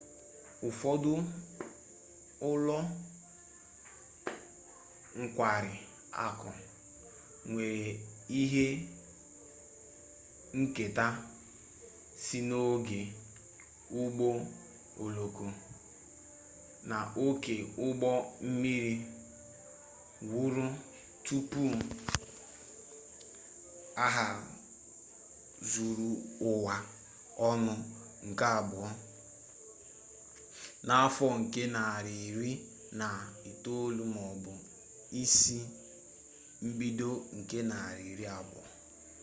ụfọdụ ụlọ nkwari akụ nwere ihe nketa si n'oge ụgbọ oloko na oke ụgbọ mmiri wuru tupu agha zuru ụwa ọnụ nke abụọ na afọ nke narị iri na itolu maọbụ isi mbido nke narị iri abụo